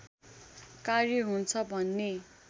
कार्य हुन्छ भन्ने